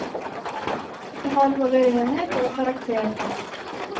Det har både renhet og karakter.